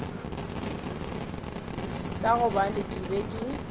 ka gobane ke be ke